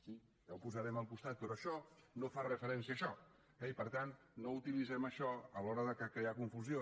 sí ja ho posarem al costat però això no fa referència a això eh i per tant no utilitzem això a l’hora de crear confusió